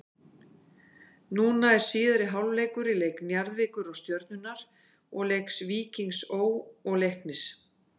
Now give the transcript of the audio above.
Núna er síðari hálfleikur í leik Njarðvíkur og Stjörnunnar og leik Víkings Ó. og Leiknis.